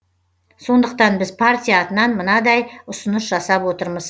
сондықтан біз партия атынан мынадай ұсыныс жасап отырмыз